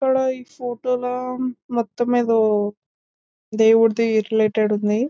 ఇక్కడ ఈ ఫోటో లా మొత్తం ఏదో దేవుడిది రిలేటెడ్ ఉంది.